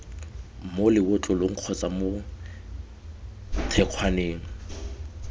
mo lebotlolong kgotsa mo thekgwaneng